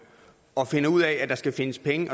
og finder ud af at der skal findes penge